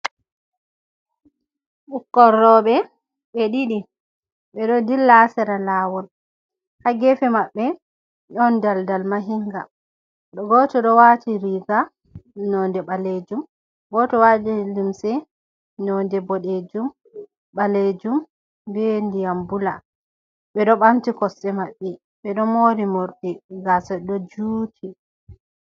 Ɓukkon roɓe ɓe ɗiɗi ɓe ɗo dilla sera lawol ha gefe maɓbe ɗon daldal mahinga, o goto do wati riga nonde balejum, goto wati limse nonde bo balejum doye ndiyam bula ɓe ɗo bamti kossɗe maɓbe ɓe ɗo mori mordi gasa do juti.